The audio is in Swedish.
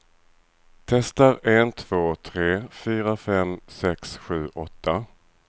Testar en två tre fyra fem sex sju åtta.